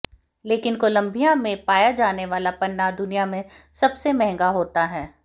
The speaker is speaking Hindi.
लेकिन कोलंबिया में पाया जाने वाला पन्ना दुनिया में सबसे महंगा होता है